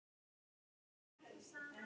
Hann gaus